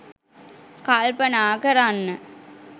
කල්පනා කරන්න